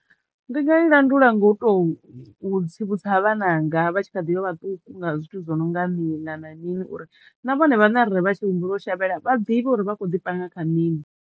Ndi nga i landula ngo to u u tsivhudza vhananga vha tshi kha ḓivha vhaṱuku nga zwithu zwo no nga miḽa na mini uri na vhone vhaṋe arali vha tshi humbula u shavhela vha ḓivhe uri vha kho ḓi panga kha mini.